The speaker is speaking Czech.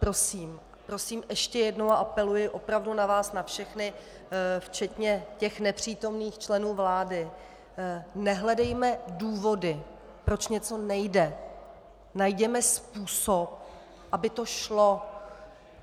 Prosím, prosím ještě jednou a apeluji opravdu na vás na všechny, včetně těch nepřítomných členů vlády, nehledejme důvody, proč něco nejde, najděme způsob, aby to šlo!